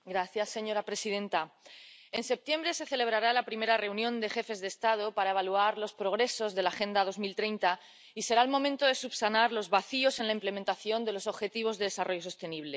Señora presidenta, en septiembre se celebrará la primera reunión de jefes de Estado para evaluar los progresos de la Agenda 2030 y será el momento de subsanar los vacíos en la implementación de los Objetivos de Desarrollo Sostenible.